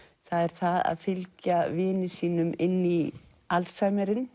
það er það að fylgja vini sínum inn í